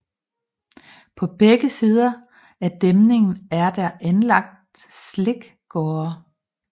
På begge sider af dæmningen er der anlagt slikgårde